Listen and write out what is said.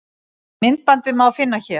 myndbandið má finna hér